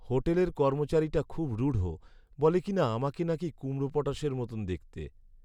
হোটেলের কর্মচারীটা খুব রূঢ়। বলে কিনা, আমাকে নাকি কুমড়োপটাশের মতোন দেখতে!